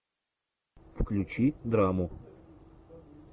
включи драму